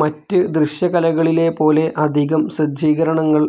മറ്റ് ദൃശ്യകലകളിലെ പോലെ അധികം സജ്ജീകരണങ്ങൾ